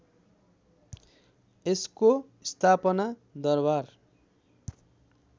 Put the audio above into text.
यसको स्थापना दरबार